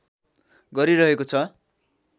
गरिरहेको छ